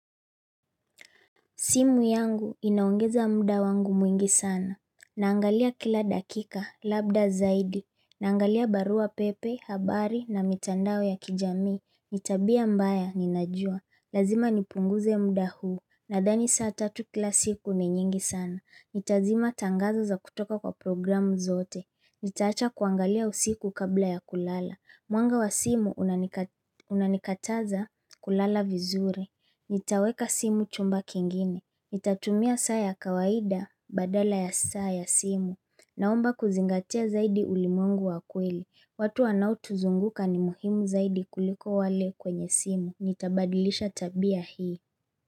Simu yangu inaongeza muda wangu mwingi sana. Naangalia kila dakika, labda zaidi. Naangalia barua pepe, habari na mitandao ya kijamii. Ni tabia mbaya, ninajua. Lazima nipunguze muda huu. Nadhani saa tatu kila siku ni nyingi sana. Nitazima tangazo za kutoka kwa programu zote. Nitaacha kuangalia usiku kabla ya kulala. Mwanga wa simu unanikataza kulala vizuri. Nitaweka simu chumba kingine, nitatumia saa ya kawaida badala ya saa ya simu, naomba kuzingatia zaidi ulimwengu wa kweli, watu wanaotuzunguka ni muhimu zaidi kuliko wale kwenye simu, nitabadilisha tabia hii.